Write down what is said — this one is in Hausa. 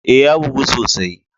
Eh, ya bugu sosai.